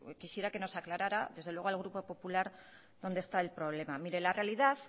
quisiera que nos aclarara desde luego al grupo popular dónde está el problema mire la realidad